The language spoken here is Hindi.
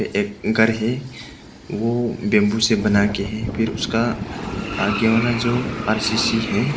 एक घर है वो बेंबू से बना के है फिर उसका आगे वाला जो आर_सी_सी है।